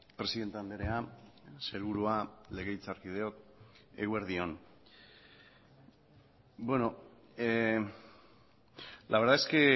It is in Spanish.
presidente andrea sailburua legebiltzarkideok eguerdi on la verdad es que